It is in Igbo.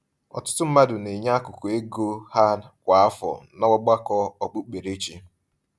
Ọtụtụ mmadụ na-enye akụkụ nke ego ha kwa afọ n’ọgbakọ okpukperechi.